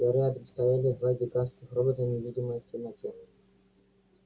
а рядом стояли два гигантских робота невидимые в темноте